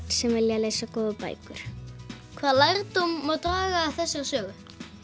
sem vilja lesa góðar bækur hvað lærdóm má draga af þessari sögu